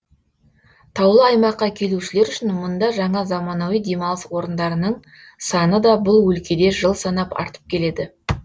таулы аймаққа келушілер үшін мұнда жаңа заманауи демалыс орындарының саны да бұл өлкеде жыл санап артып келеді